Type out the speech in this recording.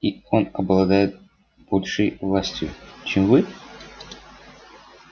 и он обладает большей властью чем вы